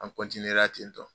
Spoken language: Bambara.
An la ten tɔn.